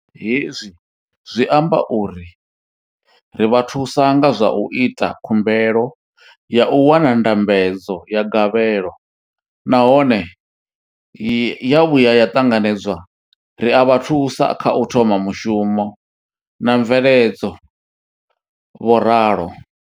Hezwi zwi amba uri ri vha thusa nga zwa u ita khumbelo ya u wana ndambedzo ya gavhelo nahone ya vhuya ya ṱanganedzwa, ri a vha thusa kha u thoma mushumo na mveledzo, vho ralo.